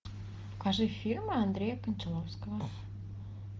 покажи фильмы андрея кончаловского